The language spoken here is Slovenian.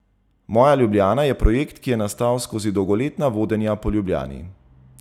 Moja Ljubljana je projekt, ki je nastal skozi dolgoletna vodenja po Ljubljani.